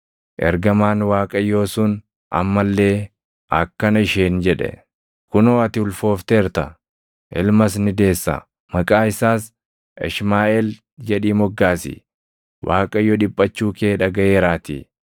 Ergamaan Waaqayyoo sun amma illee akkana isheen jedhe; “Kunoo ati ulfoofteerta; ilmas ni deessa. Maqaa isaas Ishmaaʼeel jedhii moggaasi; Waaqayyo dhiphachuu kee dhagaʼeeraatii.